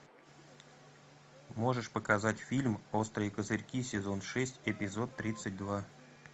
можешь показать фильм острые козырьки сезон шесть эпизод тридцать два